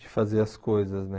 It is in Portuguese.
de fazer as coisas, né?